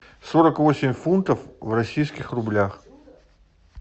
сорок восемь фунтов в российских рублях